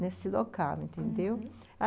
nesse local, entendeu? uhum.